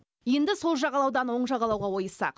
енді сол жағалаудан оң жағалауға ойыссақ